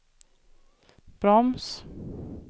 broms